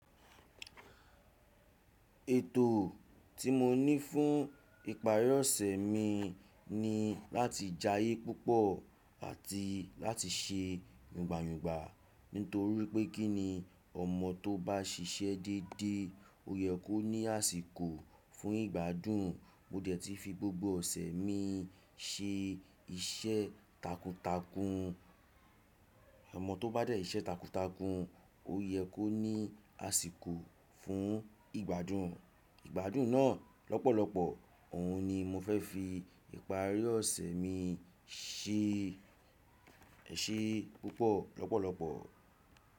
Ètò tí mo ní fún ìparí ọ̀sẹ̀ mi ni láti jayé púpọ̀ àti láti ṣe yùngba yùngba nítorí pé kí ni ọmọ tó bá ṣiṣẹ́ dédé ó yẹ kó ní àsìkò fún ìgbádùn. Mo dẹ̀ tí fi gbogbo ọ̀sẹ̀ mi se iṣẹ́ takuntakun. Ọmọ tó bá dẹ̀ iṣẹ́ takuntakun ó yẹ kó ní àsìkò fún ìgbádùn. Ìgbádùn náà lọ́pọ̀lọpọ̀ òhun ni mo fẹ́ fi ìparí ọ̀sẹ̀ mi se èse púpọ̀ lọ́pọ̀lọpọ̀.